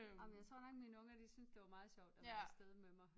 Ej men jeg tror nok mine unger de synes det var meget sjovt at være afsted med mig